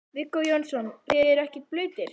Viggó Jónsson: Þið eruð ekkert blautir?